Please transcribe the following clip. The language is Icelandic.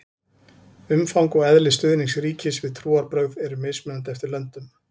umfang og eðli stuðnings ríkis við trúarbrögð eru mismunandi eftir löndum